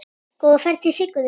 Góða ferð til Siggu þinnar.